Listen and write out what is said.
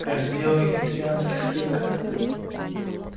раздел вегетарианских стейков